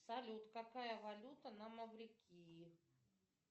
салют какая валюта на маврикии